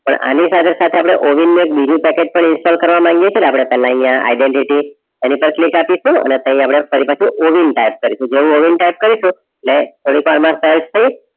પણ અને સાથે સાથે આપણે ઓવિન પેકેજ પણ ઇન્સ્ટોલ પહેલા અહીયાં identity એની પર click આપીશું અને ફરી પાછુ ઓવિન type કરીશું એટલે થોડી વાર માં સર્ચ થઈ